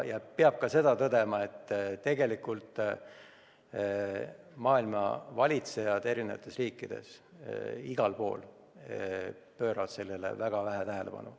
Peab tõdema ka seda, et tegelikult pööravad eri riikide valitsejad sellele probleemile väga vähe tähelepanu.